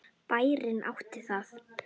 Bærinn átti það.